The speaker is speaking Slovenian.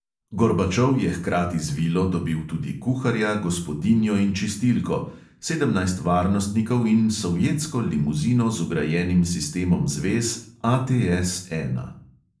Gorbačov je hkrati z vilo dobil tudi kuharja, gospodinjo in čistilko, sedemnajst varnostnikov in sovjetsko limuzino z vgrajenim sistemom zvez ATS ena.